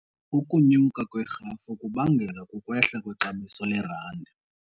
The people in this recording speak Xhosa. Ukunyuka kwerhafu kubangelwa kukwehla kwexabiso lerandi.